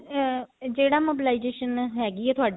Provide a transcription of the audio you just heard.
ਅਹ ਜਿਹੜੀ mobilization ਹੈਗੀ ਆ ਥੋਡੀ